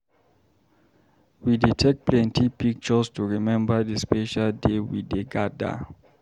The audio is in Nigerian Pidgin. We dey take plenty pictures to remember the special day wey we gather.